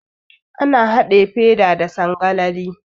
Ana haɗe feda da sangalali.